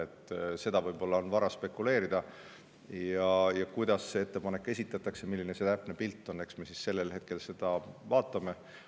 Selle üle on võib-olla vara spekuleerida, kuidas see ettepanek esitatakse ja milline see täpne pilt on, aga eks me seda siis sellel ajal vaatame.